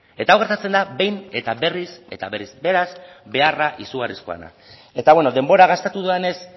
eta hau gertatzen da behin eta berriz eta berriz beraz beharra izugarrizkoa da eta denbora gastatu dudanez